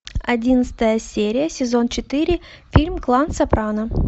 одиннадцатая серия сезон четыре фильм клан сопрано